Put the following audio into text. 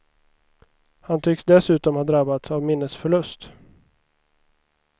Han tycks dessutom ha drabbats av minnesförlust.